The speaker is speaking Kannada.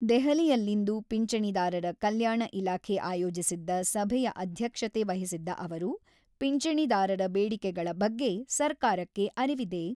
ದೆಹಲಿಯಲ್ಲಿಂದು ಪಿಂಚಣಿದಾರರ ಕಲ್ಯಾಣ ಇಲಾಖೆ ಆಯೋಜಿಸಿದ್ದ ಸಭೆಯ ಅಧ್ಯಕ್ಷತೆ ವಹಿಸಿದ್ದ ಅವರು, ಪಿಂಚಣಿದಾರರ ಬೇಡಿಕೆಗಳ ಬಗ್ಗೆ ಸರ್ಕಾರಕ್ಕೆ ಅರಿವಿದೆ.